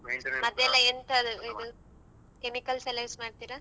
ಹಾ ಮದ್ದೆಲ್ಲ ಎಂತಾ chemicals ಎಲ್ಲ use ಮಾಡ್ತೀರಾ?